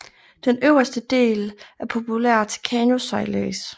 Den øverste del er populær til kanosejlads